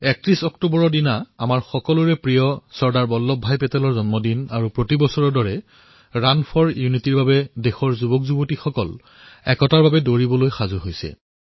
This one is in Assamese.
৩১ অক্টোবৰত আমাৰ সকলোৰে প্ৰিয় চৰ্দাৰ বল্লভ ভাই পেটেলৰ জয়ন্তী আৰু বিগত বৰ্ষসমূহৰ দৰে এই বৰ্ষতো ৰাণ ফৰ ইউনিটীৰ বাবে দেশৰ যুৱ প্ৰজন্ম একতাৰ হকে দৌৰিবলৈ সাজু হৈছে